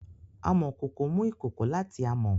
Amokoko mu ikoko lati amo.